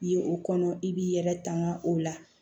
I ye o kɔnɔ i b'i yɛrɛ tanga o la